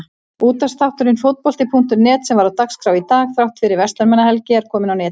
Útvarpsþátturinn Fótbolti.net sem var á dagskrá í dag þrátt fyrir Verslunarmannahelgi er kominn á netið.